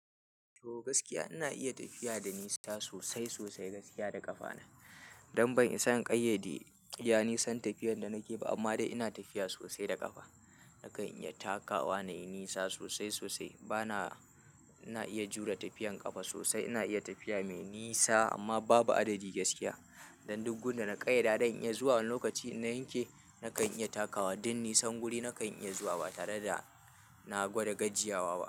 To gaskiya ina iya tafiya da nisa sosai sosai gaskiya da ƙafa na. Don ban isa in ƙayyade iya nisan tafiyan da nake ba amma dai ina tafiya sosai da ƙafa. Nakan iya takawa na yi nisa sosai sosai. Bana-- ina iya jure tafiyan ƙafa sosai. Ina iya tafiya mai nisa amma babu adadi gaskiya. Dan duk gun da na ƙayyada don iya zuwa lokaci in na yanke nakan iya takawa. Duk nisan guri nakan iya zuwa ba tare da na gwada gajiyawa ba.